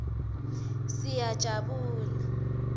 siyajabula